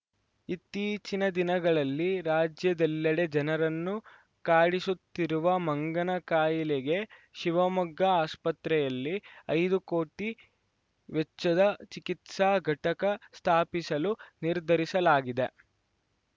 ಇತ್ತೀಚಿನ ದಿನಗಳಲ್ಲಿ ರಾಜ್ಯದೆಲ್ಲೆಡೆ ಜನರನ್ನು ಕಾಡಿಸುತ್ತಿರುವ ಮಂಗನ ಕಾಯಿಲೆಗೆ ಶಿವಮೊಗ್ಗ ಆಸ್ಪತ್ರೆಯಲ್ಲಿ ಐದು ಕೋಟಿ ವೆಚ್ಚದ ಚಿಕಿತ್ಸಾ ಘಟಕ ಸ್ಥಾಪಿಸಲು ನಿರ್ಧರಿಸಲಾಗಿದೆ